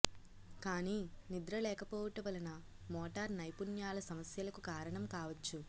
కానీ నిద్ర లేకపోవుట వలన మోటార్ నైపుణ్యాల సమస్యలకు కారణం కావచ్చు